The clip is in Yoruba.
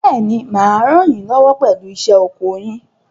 Bẹ́ẹ̀ni, mà á ràn yín lọ́wọ́ pẹ̀lú iṣẹ́ oko yín.